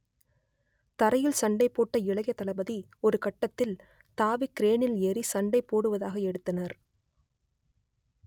தரையில் சண்டை போட்ட இளைய தளபதி ஒருகட்டத்தில் தாவி கிரேனில் ஏறி சண்டை போடுவதாக எடுத்தனர்